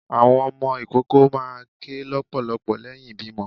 Àwọn ọmọ ìkoko máà ń kè lọpọlọpọ leyín ìbímo